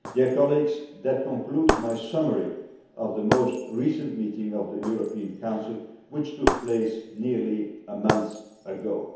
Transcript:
Colleagues, that concludes my summary of the most recent meeting of the European Council, which took place nearly a month ago.